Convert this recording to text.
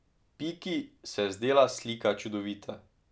Piki se je zdela slika čudovita.